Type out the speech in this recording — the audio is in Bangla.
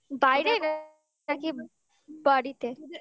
বাইরে নাকি বাড়িতে